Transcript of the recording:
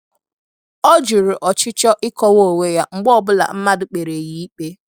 Ọ jụrụ ọchịchọ ịkọwa onwe ya mgbe ọ bụla mmadụ kpere ya ikpe.